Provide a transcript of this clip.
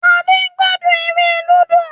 Ade gbádùn èrè ludo.